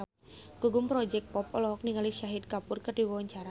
Gugum Project Pop olohok ningali Shahid Kapoor keur diwawancara